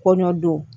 Kɔɲɔ don